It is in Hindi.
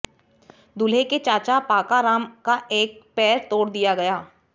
दूल्हे के चाचा पाकाराम का एक पैर तोड़ दिया गया